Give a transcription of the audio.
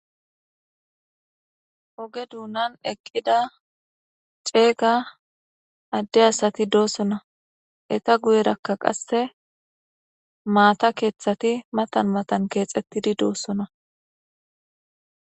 Oge donan eqida c,ega ade asati de,osona eta guyen qasika matha ketati matan matan kexetidi dosona